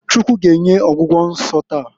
Chukwu g'enye ọgwụgwọ nso taa.